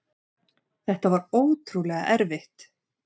Þetta var ótrúlega erfitt.